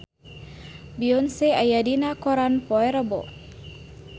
Beyonce aya dina koran poe Rebo